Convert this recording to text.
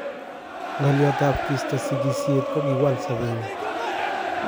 Ngo' lyot tab kisto sigisyet kokiwal sobenyun